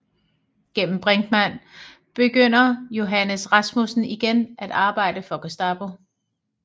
Gennem Brinkmand begynder Johannes Rasmussen igen at arbejde for Gestapo